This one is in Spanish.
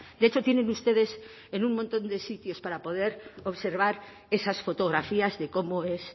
de hecho tienen ustedes en un montón de sitios para poder observar esas fotografías de cómo es